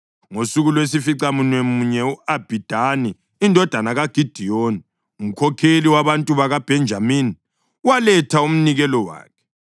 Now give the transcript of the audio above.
Ngosuku lwesificamunwemunye u-Abhidani indodana kaGidiyoni, umkhokheli wabantu bakaBhenjamini, waletha umnikelo wakhe.